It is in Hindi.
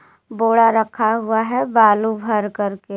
बोरा रखा हुआ है बालू भर के--